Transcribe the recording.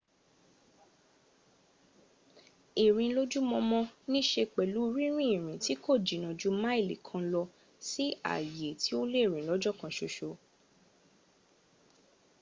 ìrìn lójúmọmọ nííṣe pẹ̀lú rínrin ìrìn tí kò jìnnà ju máìlì kan lọ sí ààyè tí ó lè rìn lọ́jọ́ kan ṣoṣo